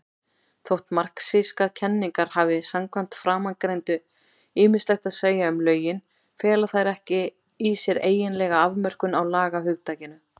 Þótt marxískar kenningar hafi samkvæmt framangreindu ýmislegt að segja um lögin, fela þær ekki í sér eiginlega afmörkun á lagahugtakinu.